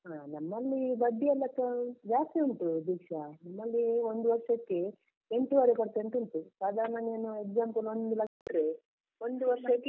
ಆ ನಮ್ಮಲ್ಲಿ ಬಡ್ಡಿಯೆಲ್ಲ ಆ ಜಾಸ್ತಿ ಉಂಟು ದೀಕ್ಷಾ, ನಮ್ಮಲ್ಲಿ ಒಂದು ವರ್ಷಕ್ಕೆ ಎಂಟುವರೆ percent ಉಂಟು ಸಾದಾರ್ಣ ನೀನು example ಒಂದು ಲಕ್ಷ ಇಟ್ರೆ ಒಂದು ವರ್ಷಕ್ಕೆ.